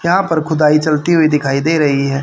यहां पर खुदाई चलती हुई दिखाई दे रही है।